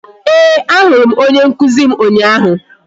Ee, a hụrụ m onye nkụzi m ụnyaahụ